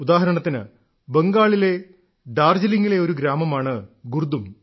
ഉദാഹരണത്തിന് ബംഗാളിലെ ഡാർജലിംഗിലെ ഒരു ഗ്രാമമാണ് ഗുർദും